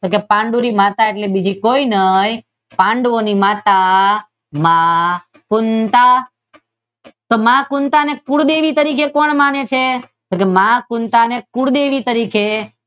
પાંડુલી માતા એટલે બીજી કોઈ નહીં પાંડવોની માતા કુંતાં તો માં કુંતાં ને કુળદેવી તરીકે કોણ માને છે? તો કે માં કુંતાં ને કુળદેવી તરીકે